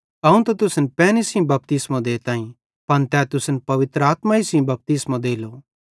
अवं त तुसन पैनी सेइं बपतिस्मो देताईं पन तै तुसन पवित्र आत्मा सेइं बपतिस्मो देलो